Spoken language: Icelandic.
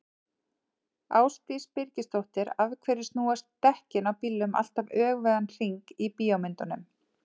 Ásdís Birgisdóttir: Af hverju snúast dekkin á bílum alltaf öfugan hring í bíómyndum?